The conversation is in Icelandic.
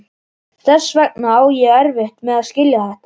Þess vegna á ég erfitt með að skilja þetta.